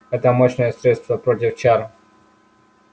это мощное средство против чар